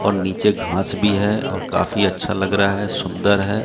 और नीचे घास भी है और काफी अच्छा लग रहा है सुंदर है।